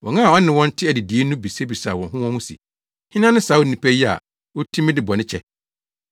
Wɔn a ɔne wɔn te adidii no bisabisaa wɔn ho wɔn ho se, “Hena ne saa onipa yi a otumi de bɔne kyɛ?”